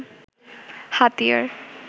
হাতিয়ার